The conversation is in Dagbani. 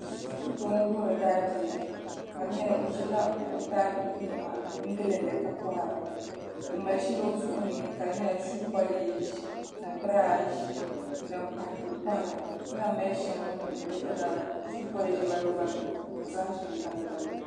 Foto ŋo wuhuri daabia ka di nyɛla o ʒila o daabiligu niɛma n gindi ka kohara o mali shɛli o zuɣuni ka di nyɛla shuu polish ni birash ni din pahi ka o kohara ka lahi mali shɛli o nuuni di gba zaa shuu polish balibu balibu ni birash nim balibu balibu